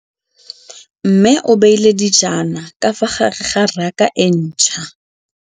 Mmê o beile dijana ka fa gare ga raka e ntšha.